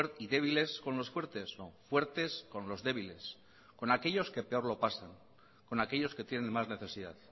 y débiles con los fuertes fuertes con los débiles con aquellos que peor lo pasan con aquellos que tienen más necesidad